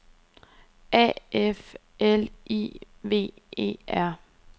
A F L I V E R